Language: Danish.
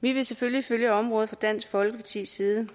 vi vil selvfølgelig følge området fra dansk folkepartis side